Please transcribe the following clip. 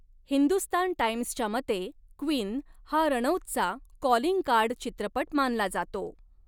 हिंदुस्तान टाइम्सच्या मते, 'क्वीन' हा रणौतचा कॉलिंग कार्ड चित्रपट मानला जातो.